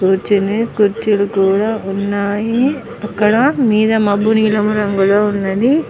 కూర్చోనె కుర్చీలు కూడా ఉన్నాయి అక్కడ మీద మబ్బు నీలము రంగులో ఉనది.